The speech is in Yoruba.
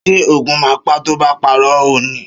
Ṣé Ògún má pa to ba parọ́ ọni?